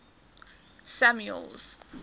samuel's